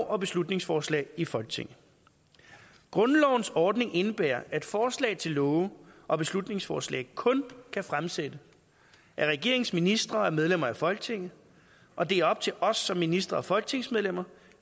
og beslutningsforslag i folketinget grundlovens ordning indebærer at forslag til love og beslutningsforslag kun kan fremsættes af regeringens ministre og af medlemmer af folketinget og det er op til os som ministre og folketingsmedlemmer